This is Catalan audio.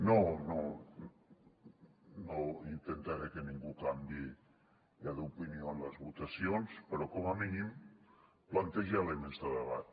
no no intentaré que ningú canviï d’opinió en les votacions però com a mínim plantejar elements de debat